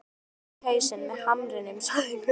Gunni lamdi þig í hausinn með hamrinum, sagði Gulli.